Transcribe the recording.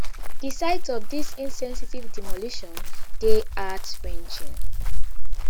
di sight of dis insensitive demolition dey heartwrenching